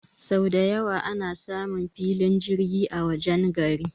sau dayawa ana samun filin jirgi a wajen gari